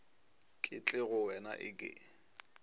ke tle go wena eke